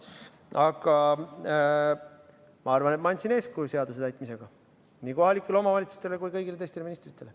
Aga ma arvan, et ma andsin seaduse täitmisega eeskuju nii kohalikele omavalitsustele kui ka kõigile teistele ministritele.